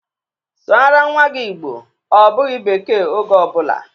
Sụara nnwa gị Igbo! Ọ bụghị bekee oge ọ bụla!